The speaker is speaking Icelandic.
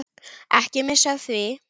Ekki missa af því.